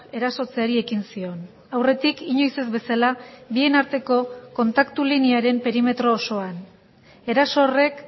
erasotzeari ekin zion aurretik inoiz ez bezala bien arteko kontaktu linearen perimetro osoan eraso horrek